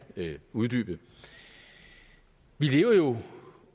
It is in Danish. uddybe vi lever jo